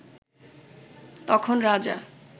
তখন রাজা